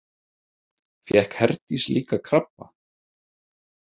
Fékk Herdís líka krabba?